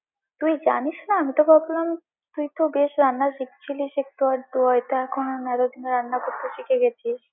তুই জানিস না, আমি তোকে এতদিন, তুই তো বেশ রান্না শিখছিলিস একটু আধটু, হয়ত এখন নেড়েচেড়ে রান্না করতে শিখে গেছিস।